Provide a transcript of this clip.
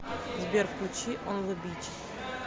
сбер включи он зэ бич